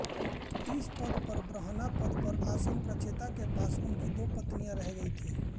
इस समय ब्रह्मा पद पर आसीन प्रचेता के पास उनकी दो पत्नियांँ रह रही थी